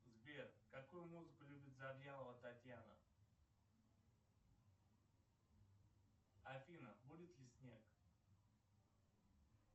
сбер какую музыку любит завьялова татьяна афина будет ли снег